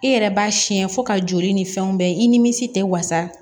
I yɛrɛ b'a siyɛn fo ka joli ni fɛnw bɛɛ i nimisi tɛ wasa